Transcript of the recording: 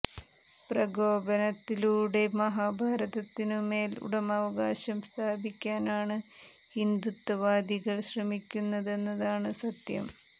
പ്രകോപനത്തിലൂടെ മഹാഭാരതത്തിനു മേൽ ഉടമാവകാശം സ്ഥാപിക്കാനാണ് ഹിന്ദുത്വവാദികൾ ശ്രമിക്കുന്നത് എന്നതാണ് സത്യം